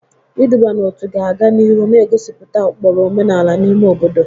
Iduba n'otu ga-aga n'ihu na-egosipụta ụkpụrụ omenala n'ime obodo.